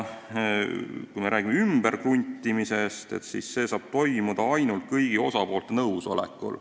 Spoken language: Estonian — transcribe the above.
Kui me räägime ümberkruntimisest, siis see saab toimuda ainult kõigi osapoolte nõusolekul.